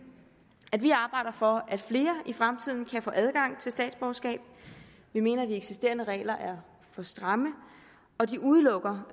at vi arbejder for at flere i fremtiden kan få adgang til statsborgerskab vi mener at de eksisterende regler er for stramme og de udelukker